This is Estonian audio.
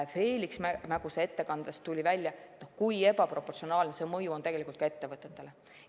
Feliks Mäguse ettekandest tuli välja seegi, kui ebaproportsionaalne on see mõju olnud tegelikult ka ettevõtetele.